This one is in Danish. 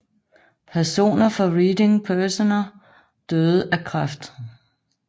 Personer fra Reading Personer døde af kræft